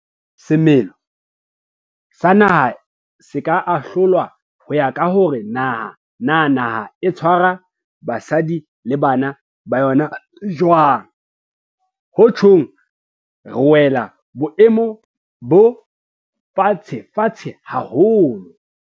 Haeba semelo sa naha se ka ahlolwa ho ya ka hore na naha e tshwara basadi le bana ba yona jwang, ho tjhong re wela boemong bo fatshefatshe haholo.